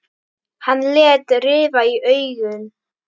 Hann lét rifa í augun.